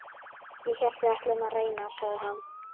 Ég hélt við ætluðum að reyna, sagði hann.